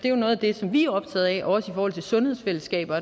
er noget af det som vi er optaget af også i forhold til sundhedsfællesskaber